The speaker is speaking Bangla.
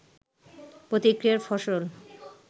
প্রতিক্রিয়ার ফসল